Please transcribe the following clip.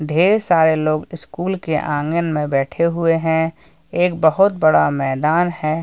ढेर सारे लोग स्कूल के आंगन में बैठे हुए हैं। एक बहोत बड़ा मैदान है ।